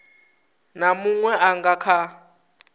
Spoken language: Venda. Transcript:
na munwe a nga kha